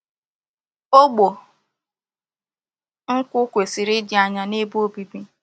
Ogbo nkwu kwesiri idi anya n'ebe obibi.